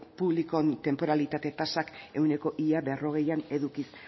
publikoen tenporalitate tasak ehuneko ia berrogeian edukiz